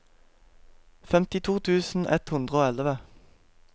femtito tusen ett hundre og elleve